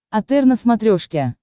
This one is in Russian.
отр на смотрешке